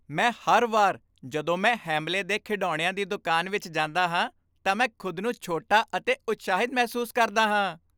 ਮੈਂ ਹਰ ਵਾਰ ਜਦੋਂ ਮੈਂ ਹੈਮਲੇ ਦੇ ਖਿਡੌਣਿਆਂ ਦੀ ਦੁਕਾਨ ਵਿੱਚ ਜਾਂਦਾ ਹਾਂ ਤਾਂ ਮੈਂ ਖੁਦ ਨੂੰ ਛੋਟਾ ਅਤੇ ਉਤਸ਼ਾਹਿਤ ਮਹਿਸੂਸ ਕਰਦਾ ਹਾਂ!